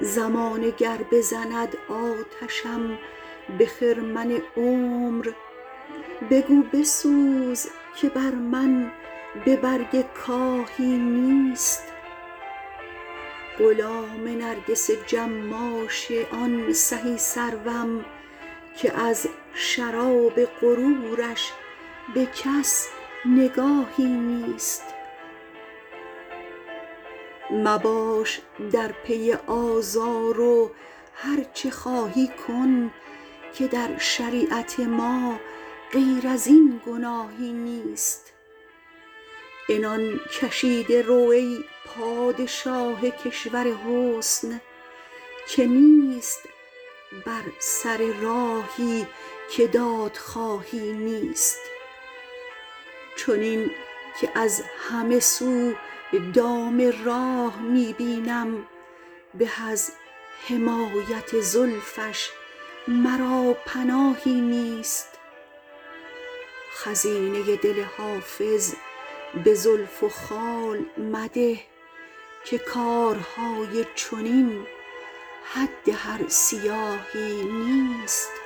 زمانه گر بزند آتشم به خرمن عمر بگو بسوز که بر من به برگ کاهی نیست غلام نرگس جماش آن سهی سروم که از شراب غرورش به کس نگاهی نیست مباش در پی آزار و هرچه خواهی کن که در شریعت ما غیر از این گناهی نیست عنان کشیده رو ای پادشاه کشور حسن که نیست بر سر راهی که دادخواهی نیست چنین که از همه سو دام راه می بینم به از حمایت زلفش مرا پناهی نیست خزینه دل حافظ به زلف و خال مده که کارهای چنین حد هر سیاهی نیست